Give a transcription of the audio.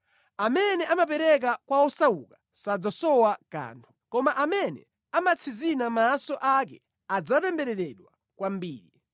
Amene amapereka kwa osauka sadzasowa kanthu, koma amene amatsinzina maso ake adzatembereredwa kwambiri.